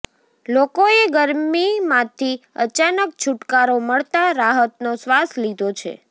લોકોએ ગરમીમાંથી અચાનક છૂટકારો મળતા રાહતનો શ્વાસ લીધો છે